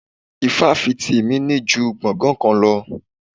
Ifáfìti mi ní ju gbongan kan lọ.